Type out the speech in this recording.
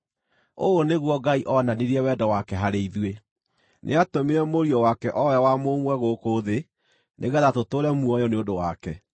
Ũũ nĩguo Ngai oonanirie wendo wake harĩ ithuĩ: Nĩatũmire Mũriũ wake, o we wa mũmwe, gũkũ thĩ nĩgeetha tũtũũre muoyo nĩ ũndũ wake.